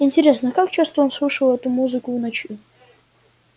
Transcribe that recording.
интересно как часто он слышал эту музыку в ночи